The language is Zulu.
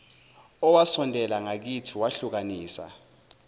owasondela ngakithi wehlukanisa